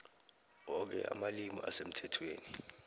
woke amalimi asemthethweni